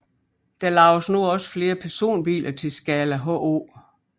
Der laves nu også flere personbiler til skala H0